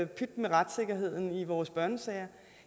pyt med retssikkerheden i vores børnesager